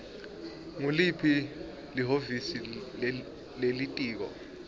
nguliphi lihhovisi lelitiko